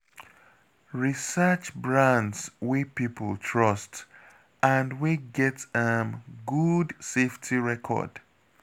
Research brands wey people trust and wey get um good safety record